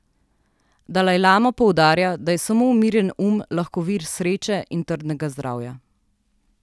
Dalajlama poudarja, da je samo umirjen um lahko vir sreče in trdnega zdravja.